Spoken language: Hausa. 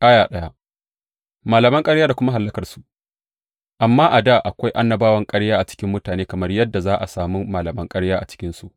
Malaman ƙarya da kuma hallakarsu Amma a dā akwai annabawan ƙarya a cikin mutane, kamar yadda za a sami malaman ƙarya a cikinku.